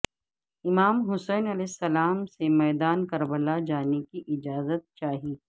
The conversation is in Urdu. امام حسین علیہ السلام سے میدان کربلا جانے کی اجازت چاہی